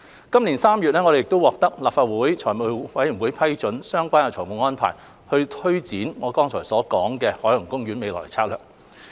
今年3月，我們獲得立法會財務委員會批准相關的財務安排，推展我剛才提及的海洋公園未來策略。